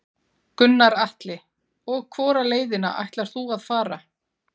Gunnar Atli: Og hvora leiðina ætlar þú að fara?